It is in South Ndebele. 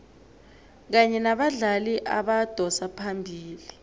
kanye nabadlali abadosa phambili